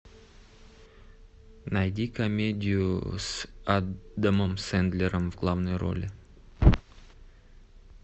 найди комедию с адамом сэндлером в главной роли